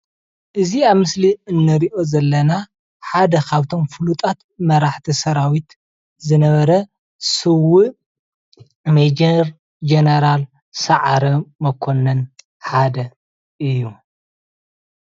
እዚ ኣብ ምስሊ እንሪኦ ዘለና ሓደ ካብቶም ፍሉጣት መራሕቲ ሰራዊት ዝነበረ ስውእ ሜጀር ጀነራል ሰዓረ መኮነን ሓደ እዩ፡፡